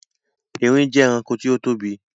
Erin jẹ ẹranko tí ó tóbi